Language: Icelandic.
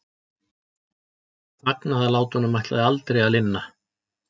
Fagnaðarlátunum ætlaði aldrei að linna.